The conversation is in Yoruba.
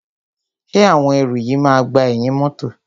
Ṣé àwọn ẹrù yìí máa gba ẹ̀yìn mọ́tọ̀.